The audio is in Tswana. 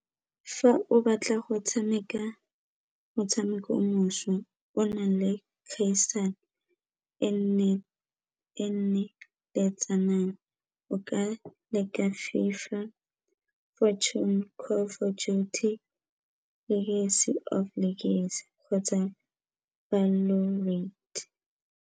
Fa o batla go tshameka motshameko mošwa o o nang le kgaisano e nne o ka leka FIFA, Call of Duty, kgotsa .